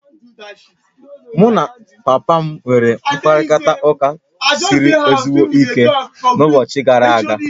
Mụ na papa m nwere mkparịta ụka siri ezigbo ike n'ụbọchị gara a ga